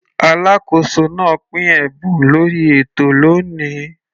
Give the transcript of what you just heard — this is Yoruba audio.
Alákóso náà pín ẹ̀bùn lórí ètò lóni.